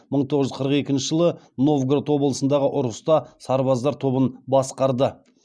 мың тоғыз жүз қырық екінші жылы новгород облысындағы ұрыста сарбаздар тобын басқарды